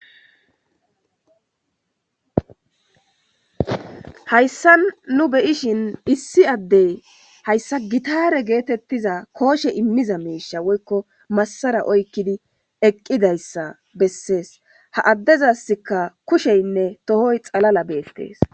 Haysan nu beyishn issi Adey haysa gitare getetiza kooshe imiza miisha woyko Masara oykid eqidaysa beses, ha dezasika kusheynne tohoy xalala betes.